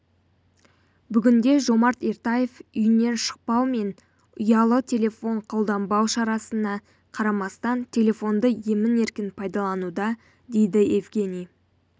бүгінде жомарт ертаев үйінен шықпау мен ұялы телефон қолданбау шарасына қарамастан телефонды емін-еркін пайдалануда дейді евгений